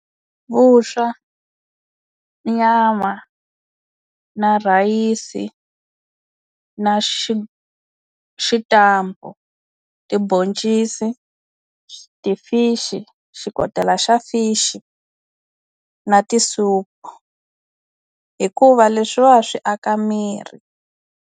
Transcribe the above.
Vuswa nyama na rhayisi na xitampa timboncisi ti-fish xikotela xa fish na tisoup hikuva leswiwa swi aka miri.